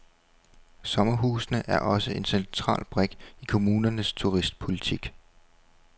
Sommerhusene er også en central brik i kommunernes turistpolitik.